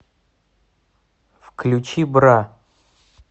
включи бра